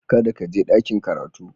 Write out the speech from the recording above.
Kada ka je ɗakin karatu